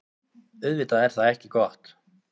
Auðvitað er það ekki gott.